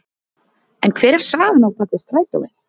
En hver er sagan á bak við strætóinn?